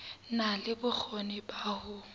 na le bokgoni ba ho